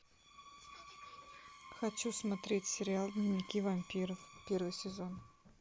хочу смотреть сериал дневники вампира первый сезон